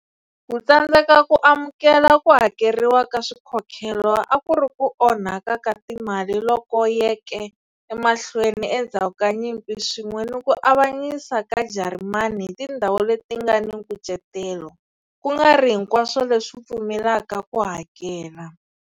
Ku tsandzeka ku amukela ku hakeriwa ka swikhokhelo a ku ri ku onhaka ka timali loku yeke emahlweni endzhaku ka nyimpi swin'we ni ku avanyisa ka Jarimani hi tindhawu leti nga ni nkucetelo, ku nga ri hinkwaswo leswi pfumelelaka ku hakela.